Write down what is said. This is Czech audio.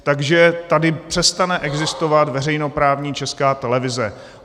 Takže tady přestane existovat veřejnoprávní Česká televize.